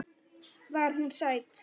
Var hún sæt?